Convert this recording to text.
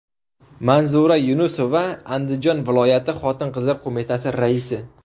Manzura Yunusova Andijon viloyati Xotin-qizlar qo‘mitasi raisi.